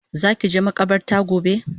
Zaki je makabarta gobe?